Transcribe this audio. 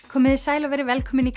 komiði sæl og verið velkomin í